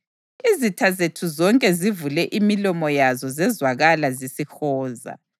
Izitha zethu zonke zivule imilomo yazo zezwakala zisihoza.